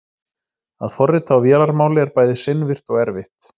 Að forrita á vélarmáli er bæði seinvirkt og erfitt.